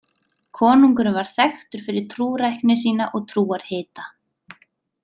Konungurinn var þekktur fyrir trúrækni sína og trúarhita.